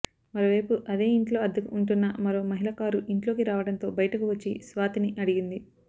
మరో వైపు అదే ఇంట్లో అద్దెకు ఉంటున్న మరో మహిళ కారు ఇంట్లోకి రావడంతో బయటకు వచ్చి స్వాతిని అడిగింది